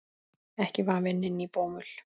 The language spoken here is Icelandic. Ekki vafinn inn í bómull.